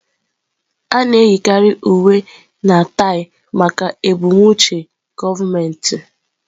A na-eyikarị uwe na taị maka ebumnuche gọọmentị.